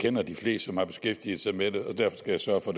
kender de fleste som har beskæftiget sig med det og derfor skal jeg sørge for